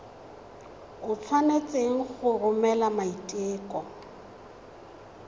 o tshwanetse go romela maiteko